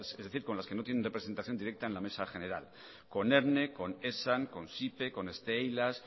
es decir con los que no tienen representación directa en la mesa general con erne con esan con stee eilas